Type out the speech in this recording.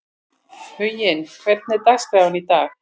Huginn, hvernig er dagskráin í dag?